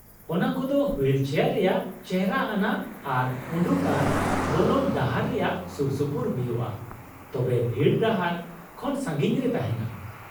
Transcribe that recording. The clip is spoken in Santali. ᱚᱱᱟ ᱠᱚᱫᱚ ᱦᱩᱭᱤᱞ ᱪᱮᱭᱟᱨ ᱨᱮᱭᱟᱜ ᱪᱮᱷᱨᱟ ᱟᱱᱟᱜ ᱟᱨ ᱩᱰᱩᱠ ᱟᱨ ᱵᱚᱞᱚᱱ ᱰᱟᱦᱟᱨ ᱨᱮᱭᱟᱜ ᱥᱩᱨᱥᱩᱯᱩᱨ ᱦᱩᱭᱩᱜᱼᱟ, ᱛᱚᱵᱮ ᱵᱷᱤᱲ ᱰᱟᱦᱟᱨ ᱠᱷᱚᱱ ᱥᱟᱹᱜᱤᱧ ᱨᱮ ᱛᱟᱦᱮᱱᱟ ᱾